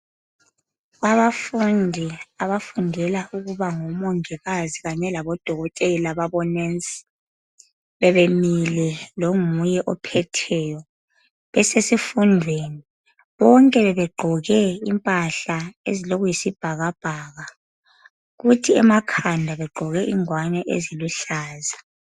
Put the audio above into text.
Abafundi abafundela ukuba ngo mongikazi kanye labodokotela bonensi. Bebe mile longuye ophetheyo besesifundweni bonke bebegqoke impahla ezilokuyi sibhakabhaka, kuthi emakhanda begqoke ingwane eziluhlaza.